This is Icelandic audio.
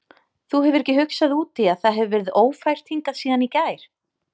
Þú hefur ekki hugsað út í að það hefur verið ófært hingað síðan í gær?